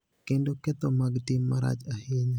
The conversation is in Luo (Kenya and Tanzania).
kendo ketho mag tim marach ahinya,